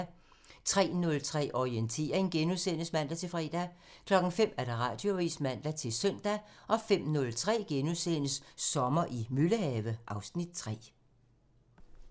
03:03: Orientering *(man-fre) 05:00: Radioavisen (man-søn) 05:03: Sommer i Møllehave (Afs. 3)*